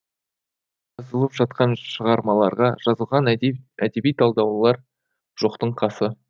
жазылып жатқан шығармаларға жазылған әдеби талдаулар жоқтың қасы